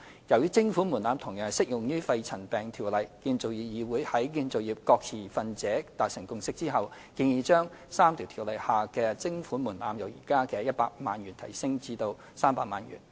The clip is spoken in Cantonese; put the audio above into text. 由於徵款門檻同樣適用於《條例》，議會在建造業各持份者達成共識後，建議將3項條例下的徵款門檻由現時的100萬元提高至300萬元。